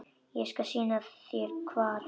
Ég skal sýna þér hvar.